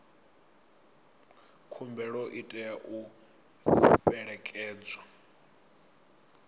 khumbelo i tea u fhelekedzwa